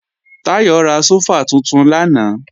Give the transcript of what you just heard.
Táyọ̀ ra sófà tuntun lánàá